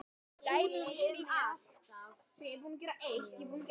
Dæmi um slíkt er